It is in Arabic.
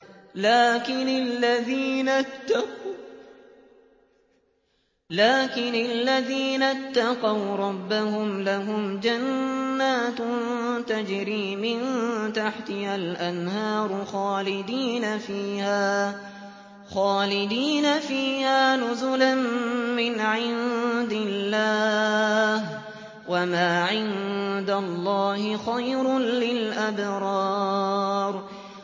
لَٰكِنِ الَّذِينَ اتَّقَوْا رَبَّهُمْ لَهُمْ جَنَّاتٌ تَجْرِي مِن تَحْتِهَا الْأَنْهَارُ خَالِدِينَ فِيهَا نُزُلًا مِّنْ عِندِ اللَّهِ ۗ وَمَا عِندَ اللَّهِ خَيْرٌ لِّلْأَبْرَارِ